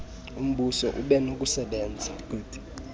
umbuso ube nokusebenza